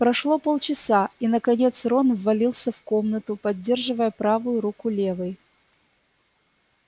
прошло полчаса и наконец рон ввалился в комнату поддерживая правую руку левой